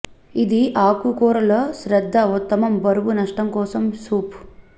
ఇది ఆకుకూరల శ్రద్ద ఉత్తమం బరువు నష్టం కోసం సూప్